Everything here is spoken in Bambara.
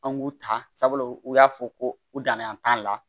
An k'u ta sabula u y'a fɔ ko u danan t'a la